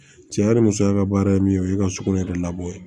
Cɛ yɛrɛ ni musoya ka baara ye min ye o ye ka sugunɛ yɛrɛ labɔ yen